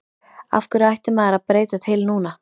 Af hverju ætti maður að breyta til núna?